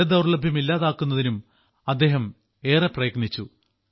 ജലദൌർലഭ്യം ഇല്ലാതാക്കുന്നതിനും അദ്ദേഹം ഏറെ പ്രയത്നിച്ചു